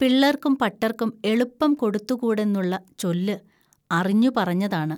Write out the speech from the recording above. പിള്ളർക്കും പട്ടർക്കും എളുപ്പം കൊടുത്തുകൂടെന്നുള്ള ചൊല്ല്, അറിഞ്ഞു പറഞ്ഞതാണ്